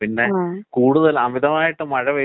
പക്ഷേ, ഈ അലർജി എന്ന് നമ്മള് പറഞ്ഞില്ലേ?